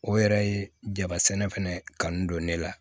O yɛrɛ ye jaba sɛnɛ fɛnɛ kanu don ne la